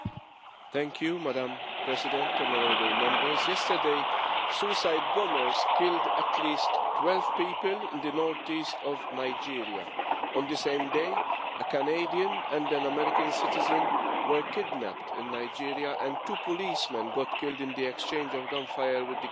Madam President, honourable Members, yesterday, suicide bombers killed at least 12 people in the northeast of Nigeria. On the same day, a Canadian and an American citizen were kidnapped in Nigeria, and two policemen were killed in the exchange of gunfire with the kidnappers.